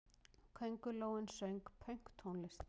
Köngulóin söng pönktónlist!